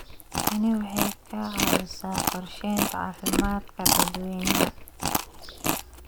Tani waxay ka caawisaa qorsheynta caafimaadka dadweynaha.